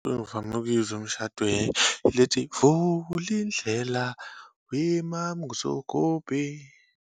Engivame ukuyizwa umshadweni, ile ethi, vulindlela weMaMzogobhe.